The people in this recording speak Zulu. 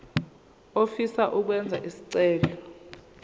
ofisa ukwenza isicelo